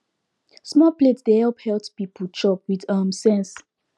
small plate dey help health people chop with um sense